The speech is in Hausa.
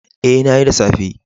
Ee, na yi, da safe.